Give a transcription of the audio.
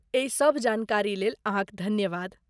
एहि सभ जानकारीलेल अहाँक धन्यवाद।